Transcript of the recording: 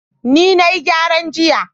ni na yi gyaran jiya